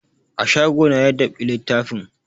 A shago na ya dab'i littafin